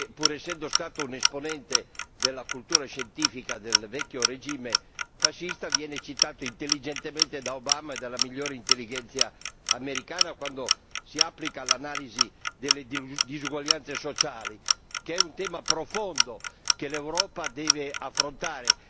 Pur essendo stato un esponente della cultura scientifica del vecchio regime fascista, viene citato intelligentemente da Obama e dalla migliore intellighenzia americana quando si applica l'analisi delle disuguaglianze sociali, che è un tema profondo che l'Europa deve affrontare.